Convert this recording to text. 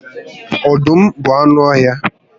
Ọdụm bụ anụ ọhịa